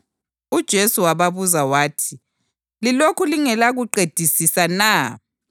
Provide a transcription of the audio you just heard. UJesu wababuza wathi, “Lilokhu lingelakuqedisisa na?